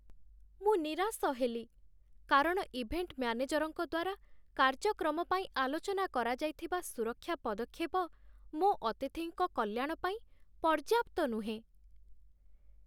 ମୁଁ ନିରାଶ ହେଲି କାରଣ ଇଭେଣ୍ଟ ମ୍ୟାନେଜର୍‌ଙ୍କ ଦ୍ୱାରା କାର୍ଯ୍ୟକ୍ରମ ପାଇଁ ଆଲୋଚନା କରାଯାଇଥିବା ସୁରକ୍ଷା ପଦକ୍ଷେପ ମୋ ଅତିଥିଙ୍କ କଲ୍ୟାଣ ପାଇଁ ପର୍ଯ୍ୟାପ୍ତ ନୁହେଁ।